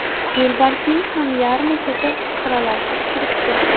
Yo‘lbarsning ham yarmi ketib, xiralashib turibdi.